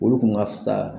Olu kun ka fisa